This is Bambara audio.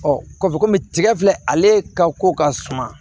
ka fɔ komi tigɛ filɛ ale ka ko ka suma